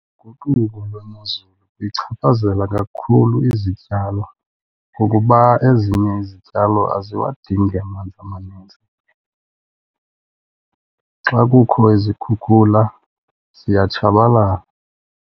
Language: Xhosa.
lwemozulu lichaphazela kakhulu izityalo ngokuba ezinye izityalo aziwadingi amanzi amaninzi. Xa kukho izikhukhula ziyatshabalala.